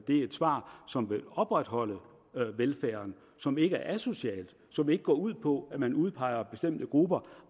er et svar som vil opretholde velfærden som ikke er asocialt og som ikke går ud på at man udpeger bestemte grupper